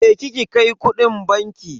Je ki ki kai kudin banki.